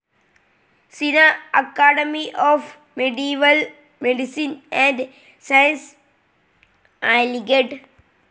സിനാ academy of medieval medicine and sciences, Aligarh